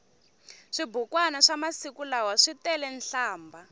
swibukwani swa masiku lawa switele nhlambha